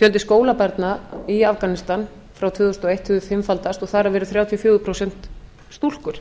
fjöldi skólabarna í afganistan frá tvö þúsund og eitt hefur fimmfaldast og þar af eru þrjátíu og fjögur prósent stúlkur